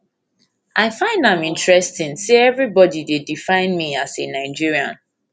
i find am interesting interesting say evribodi dey define me as a nigerian